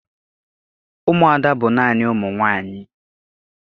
Ụmụada bụ naanị ụmụ nwaanyị